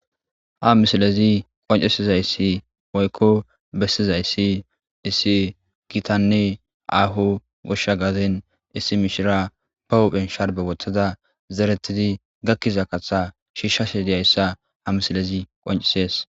ha misilezi qoncisizayssi oykko bessizayssi issi gitanne aaho goshsha gaden issi mishira ba hophen sharbe wothada zeretidi gakkiza katha shiishshashe diyayssa ha misilezi qoncisees